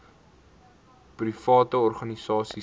private organisasies ter